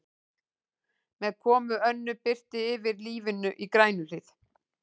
Með komu Önnu birtir yfir lífinu í Grænuhlíð.